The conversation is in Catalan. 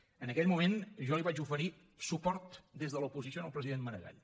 en aquell moment jo li vaig oferir suport des de l’oposició al president maragall